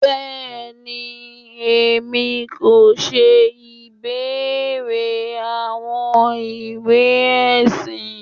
Bẹẹni, Èmi kò ṣe ìbéèrè àwọn ìwé ẹsìn.